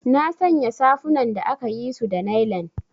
Nasanya safunan da akayisu da nailan.